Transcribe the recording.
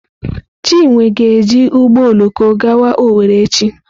Chinwe ga-eji ụgbọ oloko gawa Owere echi.